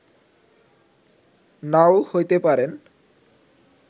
নাও হইতে পারেন